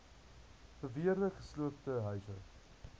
beweerde gesloopte huise